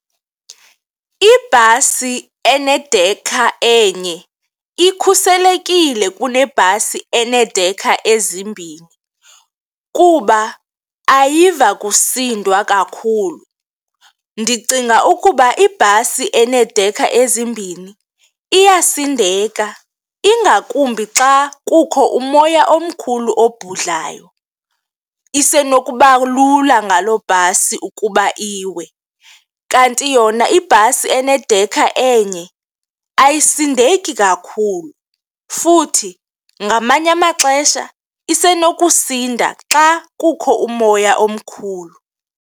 Ibhasi enedekha enye ikhuselekile kunebhasi eneedekha ezimbini kuba ayiva kusindwa kakhulu. Ndicinga ukuba ibhasi eneedekha ezimbini iyasindeka ingakumbi xa kukho umoya omkhulu obhudlayo, isenokuba lula ngaloo bhasi ukuba iwe. Kanti yona ibhasi enedekha enye ayisindeki kakhulu futhi ngamanye amaxesha isenokusinda xa kukho umoya omkhulu.